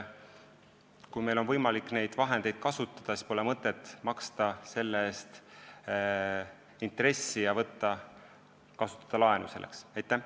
Kui meil on võimalik neid vahendeid kasutada, siis pole mõtet võtta laenu ja maksta selle eest intressi.